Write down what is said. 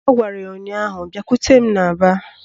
Ọ gwara ya ụnyaahụ " Bịakwute n'aba"!